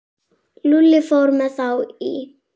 Lúlli fór með þá í